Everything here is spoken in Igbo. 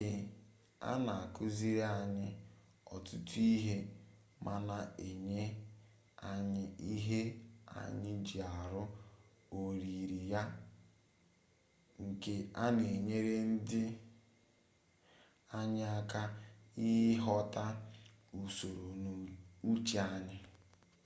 nke a na-akuziri anyị ọtụtụ ihe ma na-enye anyị ihe anyị ji arụ oyiri ya nke na-enyere anyị aka ịghọta usoro n'uche anyị